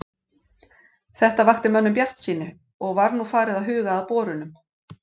Þetta vakti mönnum bjartsýni, og var nú farið að huga að borunum.